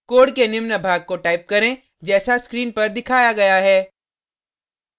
code के निम्न भाग को टाइप करें जैसा स्क्रीन पर दिखाया गया है